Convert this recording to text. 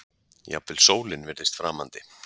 Jafnvel sólin virðist framandi.